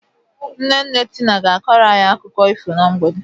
Nne nne Tina ga-akoro anyị akụkọ ifo na mgbede.